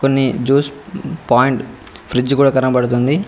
అని juice point fridge కూడా కనబడుతుంది.